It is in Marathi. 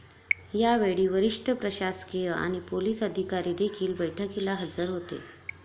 यावेळी वरिष्ठ प्रशासकीय आणि पोलीस अधिकारीदेखील बैठकीला हजर होते.